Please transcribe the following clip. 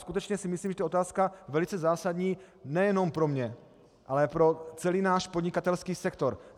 Skutečně si myslím, že je to otázka velice zásadní nejenom pro mě, ale pro celý náš podnikatelský sektor.